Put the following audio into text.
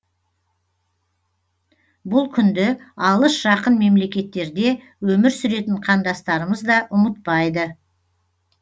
бұл күнді алыс жақын мемлекеттерде өмір сүретін қандастарымыз да ұмытпайды